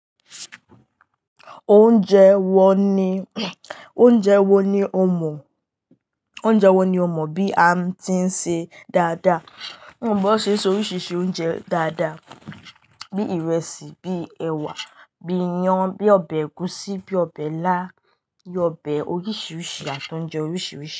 Oúnjẹ wo ni, oúnjẹ wo ni o mọ̀, oúnjẹ wo ni o mọ̀ bí a tí ń ṣe dáadáa? Mo mọ bí wọ́n ṣe ń so oríṣiríṣi oúnjẹ dáadáa bí ìrẹsì, bí ẹwà, bí iyan, bí ọbẹ̀ ẹ̀gúsí, bí ọbẹ̀ ilá, bí ọbẹ̀ oríṣiríṣi, àti oúnjẹ oríṣiríṣi.